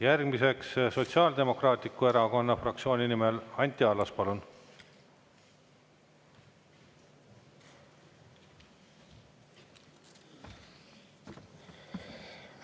Järgmiseks Sotsiaaldemokraatliku Erakonna fraktsiooni nimel Anti Allas, palun!